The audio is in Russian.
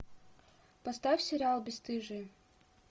поставь сериал бесстыжие